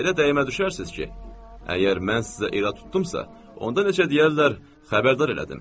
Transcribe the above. Elə dəymə düşərsiz ki, əgər mən sizə irad tutdumsa, onda necə deyərlər xəbərdar elədim.